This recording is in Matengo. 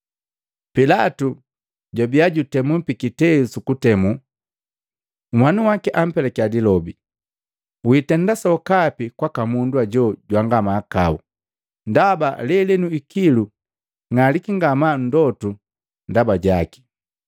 Pilatu pajwabia jutemi pikiteu sukutemu, nhwanu waki ampelakia lilobi, “Wiitenda sokapi kwaka mundu ajo jwanga mahakau, ndaba lelenu ikilu ng'aliki ngamaa nndotu ndaba jaki.”